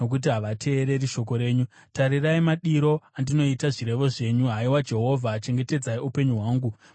Tarirai madiro andinoita zvirevo zvenyu; haiwa Jehovha, chengetedzai upenyu hwangu, maererano norudo rwenyu.